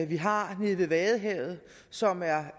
vi har nede ved vadehavet som er